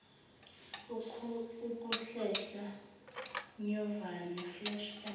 ukuhlehla nyovane flashback